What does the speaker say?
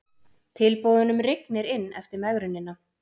Tilboðunum rignir inn eftir megrunina